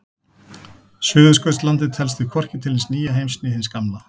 Suðurskautslandið telst því hvorki til hins nýja heims né hins gamla.